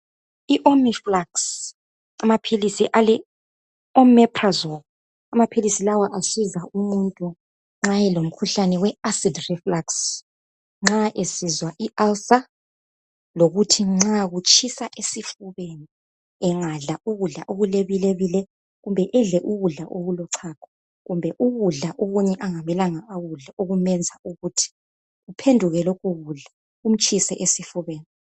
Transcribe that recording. I "omeflux" amaphilisi ale "omeprazole" amaphilisi lawo asiza umuntu olomkhuhlane we "acid reflux " nxa esizwa i"ulcer" lokuthi nxa kutshisa esifubeni engadla ukudla okulebilebile kumbe edle ukudla okulochago kumbe ukudla okunye angamelanga akudle okumenza ukuthi kuphenduke lokhu kudla kumtshise esifubeni.